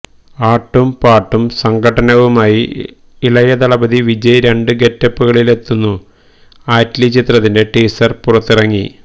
ആട്ടും പാട്ടും സംഘട്ടനവുമായി ഇളയദലപതി വിജയ് രണ്ട് ഗെറ്റപ്പുകളിലെത്തുന്നു ആറ്റ്ലി ചിത്രത്തിന്റെ ടീസര് പുറത്തിറങ്ങി